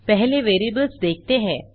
पहले वेरिएबल्स देखते हैं